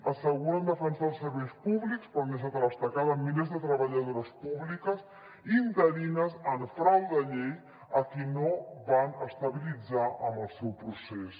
asseguren defensar els serveis públics però han deixat a l’estacada milers de treballadores públiques interines en frau de llei a qui no van estabilitzar amb el seu procés